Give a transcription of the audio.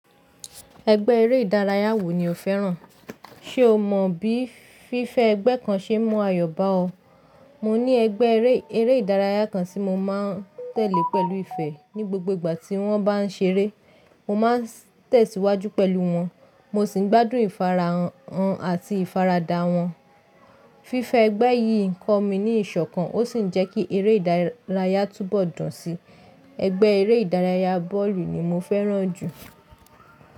Ẹgbẹ́ eré ìdárayá wo ni o fẹ́ràn? Ṣé o mọ bí fífẹ ẹgbẹ́ kan ṣe n mu ayọ̀ bá ọ? Mo ní ẹgbẹ́ eré ìdárayá kan tí mo máa tẹ̀lé pẹ̀lú ìfẹ́. Ni gbogbo ìgbà tí wọ́n bá ń ṣeré, mo máa ń tẹ̀síwájú pẹ̀lú wọn, mo sì ń gbádùn ìfarahàn wọn àti ìfaradà wọn. Fífẹ ẹgbẹ́ yìí ń kọ́ mi ní ìṣọ̀kan ó sì ń jẹ́ kí eré ìdárayá túbọ̀ dùn síi. Ẹgbẹ́ eré ìdárayá bọ́ọ̀lù ni mo fẹ́ràn jù.